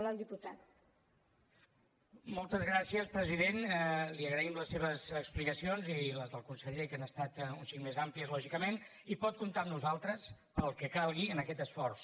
moltes gràcies president li agraïm les seves explicacions i les del conseller que han estat un xic més amplies lògicament i pot comptar amb nosaltres per al que calgui en aquest esforç